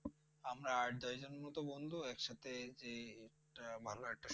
আমরা আট দশ জনের মত বন্ধু এক সাথে যে একটা ভালো একটা